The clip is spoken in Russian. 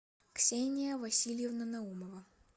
ксения васильевна наумова